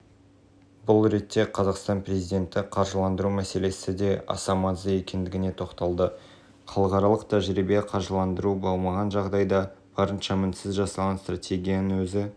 ал индустрия министрлігі тек индустриямен ғана айналысуы тиіс әрқайсысы өз ісін білгені абзал біз маңызды жұмысқа кедергі келтірмеуіміз қажет деді мемлекет